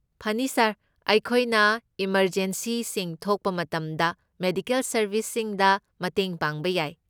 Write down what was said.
ꯐꯅꯤ, ꯁꯥꯔ꯫ ꯑꯩꯈꯣꯏꯅ ꯏꯃꯔꯖꯦꯝꯁꯤꯁꯤꯡ ꯊꯣꯛꯄ ꯃꯇꯝꯗ ꯃꯦꯗꯤꯀꯦꯜ ꯁꯔꯕꯤꯁꯁꯤꯡꯗ ꯃꯇꯦꯡ ꯄꯥꯡꯕ ꯌꯥꯏ꯫